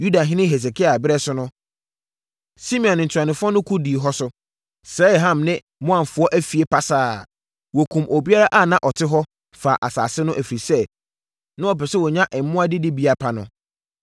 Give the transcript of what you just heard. Yudahene Hesekia ɛberɛ so no, Simeon ntuanofoɔ no ko dii hɔ so, sɛee Ham ne Maonfoɔ afie pasaa. Wɔkumm obiara a na ɔte hɔ, faa asase no, ɛfiri sɛ, na wɔpɛ sɛ wɔnya mmoa didibea pa no.